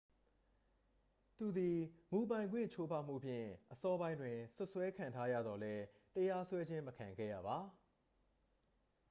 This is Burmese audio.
သူသည် မူပိုင်ခွင့်ချိုးဖောက်မှုဖြင့် အစောပိုင်းတွင် စွပ်စွဲခံထားရသော်လည်း တရားစွဲခြင်း မခံခဲ့ရပါ